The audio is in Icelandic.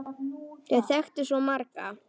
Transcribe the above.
Þau þekktu svo marga.